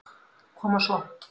Koma svo.